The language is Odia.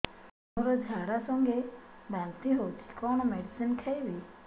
ମୋର ଝାଡା ସଂଗେ ବାନ୍ତି ହଉଚି କଣ ମେଡିସିନ ଖାଇବି